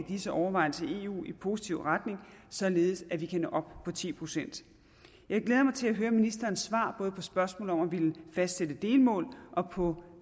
disse overvejelser i eu i positiv retning således at vi kan nå op på ti procent jeg glæder mig til at høre ministeren svare både på spørgsmålet om at fastsætte delmål og på